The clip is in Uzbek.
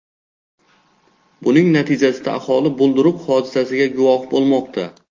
Buning natijasida aholi bulduruq hodisasiga guvoh bo‘lmoqda.